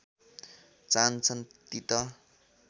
चाहन्छन् ती त